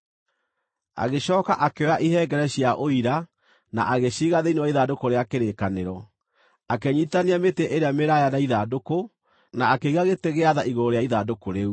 Agĩcooka akĩoya ihengere cia Ũira, na agĩciiga thĩinĩ wa ithandũkũ rĩa kĩrĩkanĩro. Akĩnyiitithania mĩtĩ ĩrĩa mĩraaya na ithandũkũ, na akĩiga gĩtĩ gĩa tha igũrũ rĩa ithandũkũ rĩu.